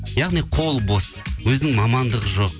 яғни қолы бос өзінің мамандығы жоқ